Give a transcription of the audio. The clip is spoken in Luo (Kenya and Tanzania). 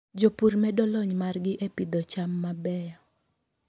Jopur medo lony margi e pidho cham mabeyo.